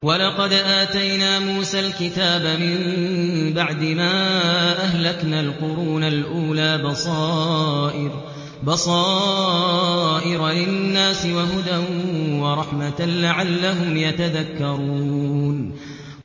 وَلَقَدْ آتَيْنَا مُوسَى الْكِتَابَ مِن بَعْدِ مَا أَهْلَكْنَا الْقُرُونَ الْأُولَىٰ بَصَائِرَ لِلنَّاسِ وَهُدًى وَرَحْمَةً لَّعَلَّهُمْ يَتَذَكَّرُونَ